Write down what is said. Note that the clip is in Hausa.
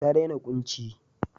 Ta dena kunci.